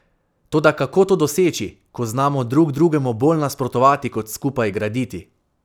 Toda, kako to doseči, ko znamo drug drugemu bolj nasprotovati kot skupaj graditi?